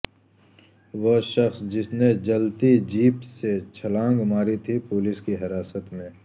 وہ شخص جس نے جلتی جیپ سے چھلانگ ماری تھی پولیس کی حراست میں